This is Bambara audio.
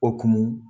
O kun